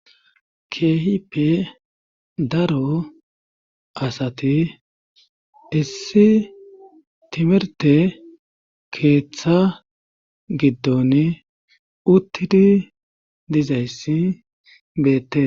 Keehipe daro asati issi timerte keeththa giddon uttidi dizayssi beette